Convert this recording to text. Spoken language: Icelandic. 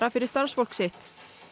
fyrir starfsfólk sitt